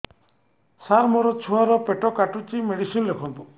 ସାର ମୋର ଛୁଆ ର ପେଟ କାଟୁଚି ମେଡିସିନ ଲେଖନ୍ତୁ